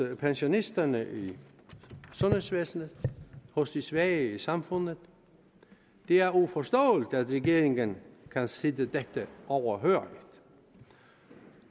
pensionisterne i sundhedsvæsenet hos de svage i samfundet det er uforståeligt at regeringen kan sidde dette overhørigt